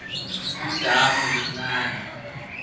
udamu lincani